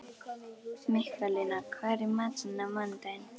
Mikkalína, hvað er í matinn á mánudaginn?